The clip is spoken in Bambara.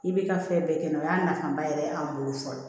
I bɛ ka fɛn bɛɛ kɛ o y'a nafaba yɛrɛ ye an bolo fɔlɔ